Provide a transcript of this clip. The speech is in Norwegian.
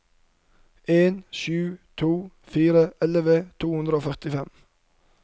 en sju to fire elleve to hundre og førtifem